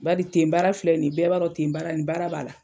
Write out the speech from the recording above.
Baari ten baara filɛ nin bɛɛ b'a don ten baara nin baara b'a la.